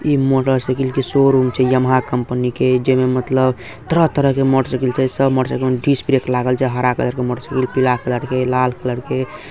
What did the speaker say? इ motorcycle के showroom छे यमाहा कंपनी के जेमें मतलब तरह-तरह के मोटर साइकिल छे सब साइकिल में डिश ब्रेक लागेल छे हरा कलर के साइकिल पीला कलर के लाल कलर के।